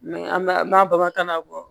an b'a an b'a bamakana bɔ